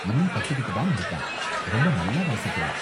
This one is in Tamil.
இன்னும் கத்துக்கிட்டு தான் இருக்கான் ரொம்ப நல்லா வாசிக்கிறான்.